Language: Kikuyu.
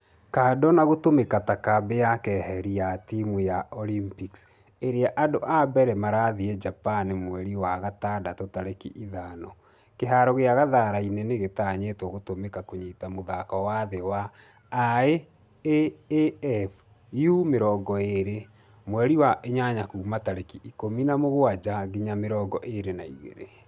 Kandũ na gũtũmĩka ta kambĩ ya keheri ya timũ ya olympics ĩrĩa andũ a mbere marathie japan mweri wa gatandatũ tarĩki ithano. Kĩharo gĩa kasarani nĩgĩtanyĩtwo gũtũmĩka kũnyita mũthako wa thĩ wa IAAF U20 mweri wa inyanya kuuma tarĩki ikũmi na mũgwaja nginya mĩrongo ĩrĩ na igĩrĩ.